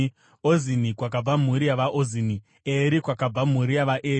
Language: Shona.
Ozini, kwakabva mhuri yavaOzini; Eri, kwakabva mhuri yavaEri;